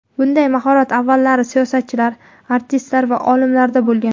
Bunday mahorat avvallari siyosatchilar, artistlar va olimlarda bo‘lgan.